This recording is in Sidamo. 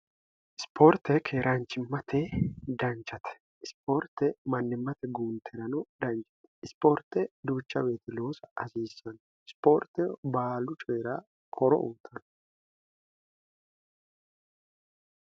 ispoorte keeraanchimmate danchate ispoorte mannimmate guunteerano danchate ispoorte duucha beeteloosa hasiissanno ispoorte baalu coyira koro uutano